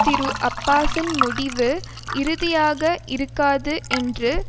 திருஅப்பாஸின் முடிவு இறுதியாக இருக்காது என்று